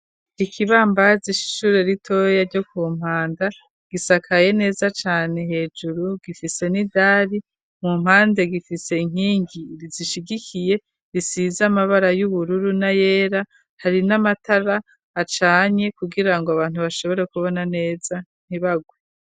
Ikibambazi c'ishishure ritoya ryo ku Mpanda gisakaye neza cane hejuru gifise nidari mu mpande gifise inkingi zishigikiye risize amabara y'ubururu na yera hari n'amatara acanye kugira ngo abantu bashobora kubona neza ntibarwe.